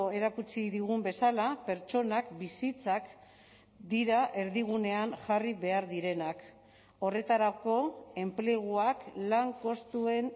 erakutsi digun bezala pertsonak bizitzak dira erdigunean jarri behar direnak horretarako enpleguak lan kostuen